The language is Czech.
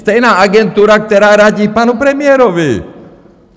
Stejná agentura, která radí panu premiérovi!